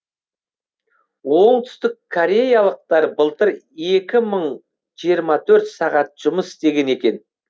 оңтүстіккореялықтар былтыр екі мың жиырма төрт сағат жұмыс істеген екен